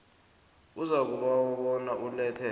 uzakubawa bona ulethe